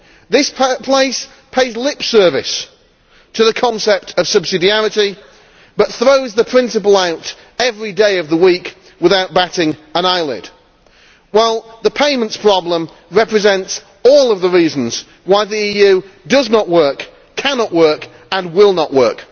This place pays lip service to the concept of subsidiarity but throws the principle out every day of the week, without batting an eyelid, while the payments problem represents all of the reasons why the EU does not work, cannot work and will not work.